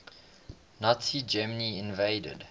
nazi germany invaded